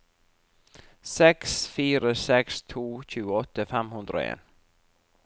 seks fire seks to tjueåtte fem hundre og en